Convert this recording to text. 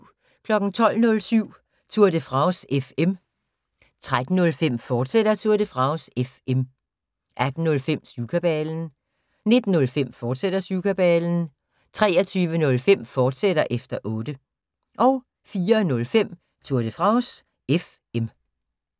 12:07: Tour de France FM 13:05: Tour de France FM, fortsat 18:05: Syvkabalen 19:05: Syvkabalen, fortsat 23:05: Efter Otte, fortsat 04:05: Tour de France FM